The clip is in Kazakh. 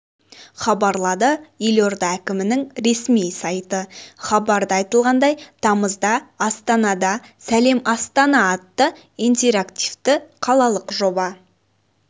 хабарлады елорда әкімінің ресми сайты хабарда айтылғандай тамызда астанада сәлем астана атты интерактивті қалалық жоба